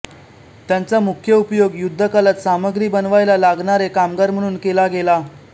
त्यांचा मुख्य उपयोग युद्धकालात सामग्री बनवायला लागणारे कामगार म्हणून केला गेला